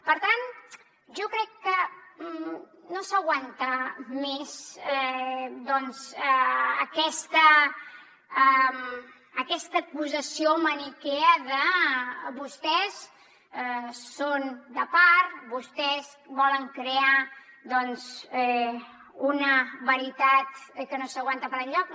per tant jo crec que no s’aguanta més doncs aquesta acusació maniquea de vostès són de part vostès volen crear doncs una veritat que no s’aguanta per enlloc